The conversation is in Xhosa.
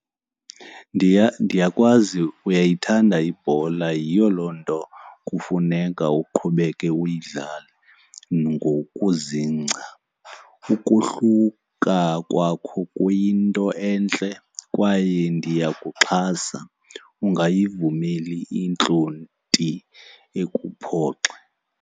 Ndiya, ndiyakwazi uyayithanda ibhola yiyo loo nto kufuneka uqhubeke uyidlale ngokuzingca. Ukohluka kwakho kuyinto entle kwaye ndiyakuxhasa, ungayivumeli intlonti ikuphoxe.